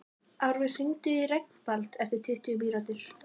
Árveig, hringdu í Reginbald eftir tuttugu mínútur.